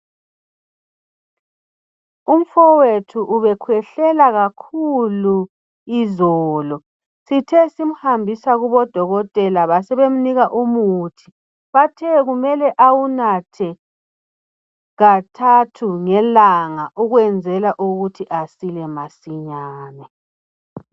Umfowethu ubekhwehlela kakhulu izolo sithe simhambisa kubodokotela basebemnika umuthi, bathe kumele awunathe kathathu ngelanga ukwenzela ukuthi asile masinyane.